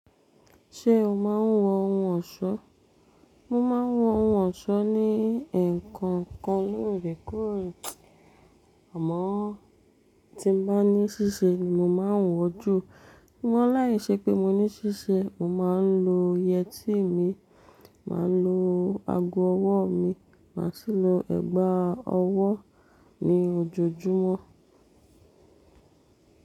Ṣé o máa ń wọ ohun ọ̀ṣọ́? Mo máa ń wọ ohun ọ̀ṣọ́ ní ǹkan kan lóòrèkóòrè, àmọ́ tí mo bá ní ṣíṣe ni mo máa ń wọ jù. Ṣùgbọ́n n láìṣẹ pé mo ní ṣíṣe, mo máa ń lo yẹtí mi, màá lo ago ọwọ́ mi, màá sì lo ẹ̀gbà ọwọ́ ni ojoojúmọ́.